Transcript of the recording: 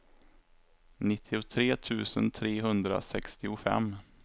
nittiotre tusen trehundrasextiofem